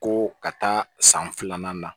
Ko ka taa san filanan na